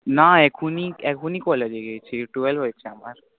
না এখনি এখনি college এ গেছি। twelve হয়েছে আমার।